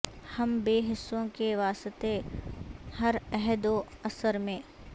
ہم بے حسوں کے واسطے ہر عہد و عصر میں